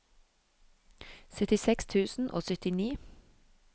syttiseks tusen og syttini